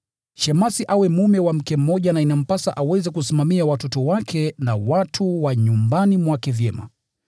Shemasi awe mume wa mke mmoja na inampasa aweze kusimamia watoto wake na watu wa nyumbani mwake vyema.